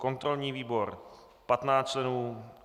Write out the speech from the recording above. kontrolní výbor 15 členů